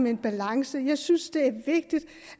en balance jeg synes det er vigtigt